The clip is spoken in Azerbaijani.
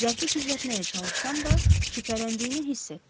Zərfi gizlətməyə çalışsam da, şübhələndiyini hiss etdim.